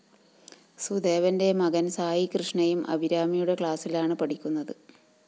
സുദേവന്റെ മകന്‍ സായികൃഷ്ണയും അഭിരാമിയുടെ ക്ലാസിലാണ് പഠിക്കുന്നത്